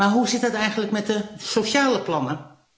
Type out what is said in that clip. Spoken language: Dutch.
Maar hoe zit het eigenlijk met de sociale plannen?